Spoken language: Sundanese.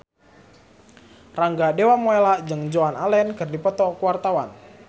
Rangga Dewamoela jeung Joan Allen keur dipoto ku wartawan